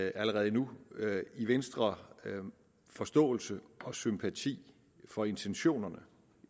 allerede nu i venstre forståelse og sympati for intentionerne